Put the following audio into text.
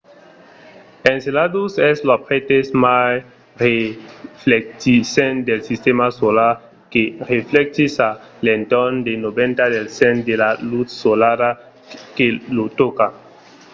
enceladus es l’objècte mai reflectissent del sistèma solar que reflectís a l'entorn de 90 del cent de la lutz solara que lo tòca